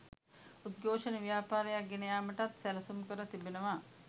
උද්ඝෝෂණ ව්‍යාපාරයක්‌ ගෙන යාමටත් සැලසුම්කර තිබෙනවා